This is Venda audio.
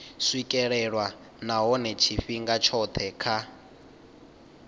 swikelelwa nahone tshifhinga tshothe kha